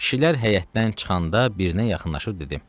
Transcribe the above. Kişilər həyətdən çıxanda birinə yaxınlaşıb dedim: